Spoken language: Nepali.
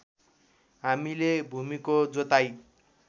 हामीले भूमिको जोताइ